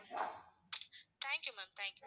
thank you ma'am thank you